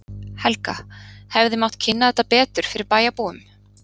Helga: Hefði mátt kynna þetta betur fyrir bæjarbúum?